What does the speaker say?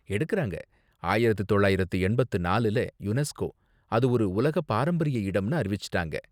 எடுக்கறாங்க, ஆயிரத்து தொள்ளாயிரத்து எண்பத்து நாலுல யுனெஸ்கோ, அது ஒரு உலக பாரம்பரிய இடம்னு அறிவிச்சுட்டாங்க.